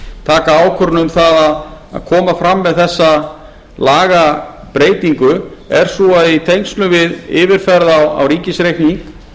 taka ákvörðun um það að koma fram með þessa lagabreytingu er sú að í tengslum við yfirferð á ríkisreikning